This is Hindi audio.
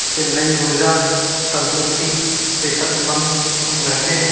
इस से नई ऊर्जा तंदुरुस्ती सेहतमंद हम रहते है।